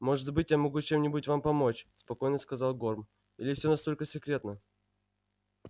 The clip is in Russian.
может быть я могу чем-нибудь вам помочь спокойно сказал горм или все настолько секретно